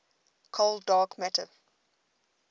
cold dark matter